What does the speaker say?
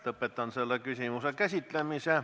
Lõpetan selle küsimuse käsitlemise.